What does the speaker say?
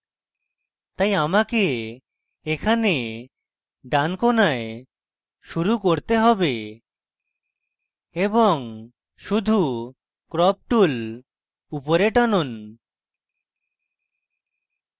তাই আমাকে এখানে ডান কোণায় শুরু করতে have এবং শুধু crop tool উপরে টানুন